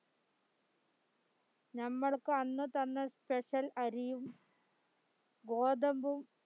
നമ്മൾക് അന്ന് തന്ന special അരിയും ഗോതമ്പും